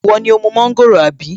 Ìwọ ni ó mú mọ́ńgòrò àbí?